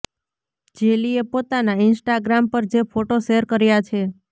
જેલીએ પોતાના ઈન્સ્ટાગ્રામ પર જે ફોટો શૅર કર્યાં છે